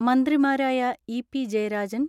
മന്ത്രിമാരായ ഇ.പി ജയരാജൻ,